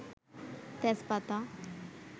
তেজপাতা